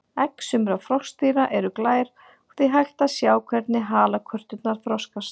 Egg sumra froskdýra eru glær og því hægt að sjá hvernig halakörturnar þroskast.